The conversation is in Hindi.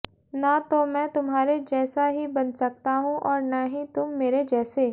न तो मैं तुम्हारे जैसा ही बन सकता हूं और न ही तुम मेरे जैसे